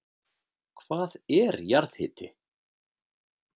Hvað er jarðhiti?